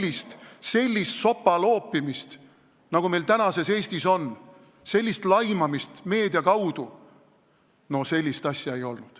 Aga sellist sopaloopimist, nagu meil tänases Eestis on, sellist laimamist meedia kaudu – no sellist asja ei olnud.